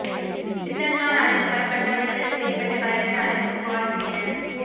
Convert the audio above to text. சிந்தல்நார் அழைத்து வரப்பட்டார் விடுதலை செய்யப்பட்ட கலெக்டர் அலெக்ஸ் பால் மேனன்